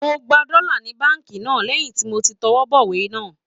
Mo gba dọ́là ni báǹkì náà lẹ́yìn tí mo ti tọwọ́ bọ ìwé náà